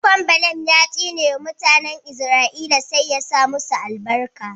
A maimakon Baalam ya tsine wa mutanen Izra'ila sai ya sa masu albarka.